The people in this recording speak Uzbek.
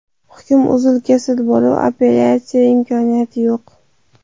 Hukm uzil-kesil bo‘lib, apellyatsiya imkoniyati yo‘q.